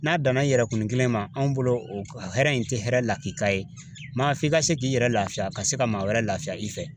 N'a danna i yɛrɛ kun kelen ma, anw bolo o hɛrɛ in tɛ hɛrɛ la ki ka ye, maa f'i ka se k'i yɛrɛ lafiya ka se ka maa wɛrɛ lafiya i fɛ.